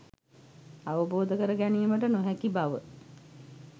අවබෝධ කර ගැනීමට නොහැකි බව